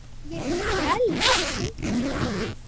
Ég skelf af kulda.